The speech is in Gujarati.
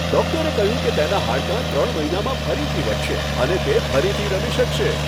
ડોક્ટર કહ્યું કે તેનાં હાડકાં ત્રણ મહિનામાં ફરીથી વધશે અને તે ફરીથી રમી શકશે.